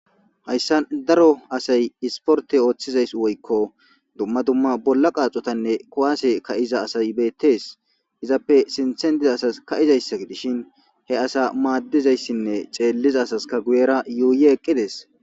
Haysan daro asayi iporte othiza woyko duma duma bolla qathotane kuwase ka'iza asayi betesi izape sinthen diza asayi kaizayas gidishin he asa madizaysine xeliza asika guyera yuyi eqidesi